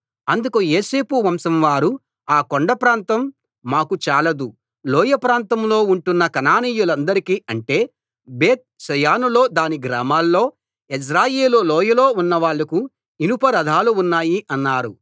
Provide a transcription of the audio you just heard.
అందుకు యోసేపు వంశం వారు ఆ కొండ ప్రాంతం మాకు చాలదు లోయ ప్రాంతంలో ఉంటున్న కనానీయులందరికీ అంటే బేత్ షెయానులో దాని గ్రామాల్లో యెజ్రెయేలు లోయలో ఉన్న వాళ్లకు ఇనుప రథాలు ఉన్నాయి అన్నారు